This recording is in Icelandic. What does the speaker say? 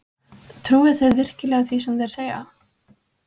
Trúi þið virkilega því sem þeir segja?